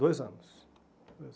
Dois anos.